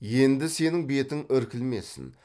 енді сенің бетің іркілмесін